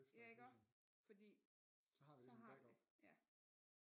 Ja iggå fordi så har vi ja